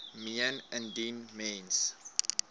meen indien mens